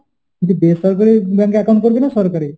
বলছি বেসরকারি bank এ account করবি? না সরকারি?